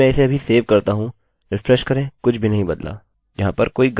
यदि मैं इसे अभी सेव करता हूँ रिफ्रेश करें कुछ भी नहीं बदला